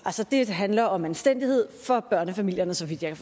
det handler om anstændighed for børnefamilierne så vidt jeg